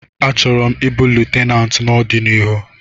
Achọrọ m ịbụ Lutenat n'ọdịnihu